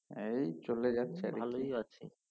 এই চলে যাচ্ছে ভালোই আছি